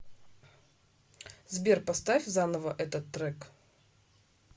сбер поставь заново этот трек